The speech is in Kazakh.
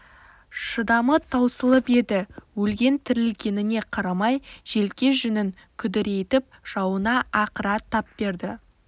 шыдамы таусылып еді өлген-тірілгеніне қарамай желке жүнін күдірейтіп жауына ақыра тап берді